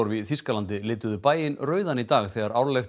í Þýskalandi lituðu bæinn rauðan í dag þegar árlegt